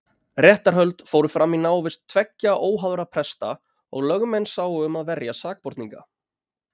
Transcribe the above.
Réttarhöld fóru fram í návist tveggja óháðra presta og lögmenn sáu um að verja sakborninga.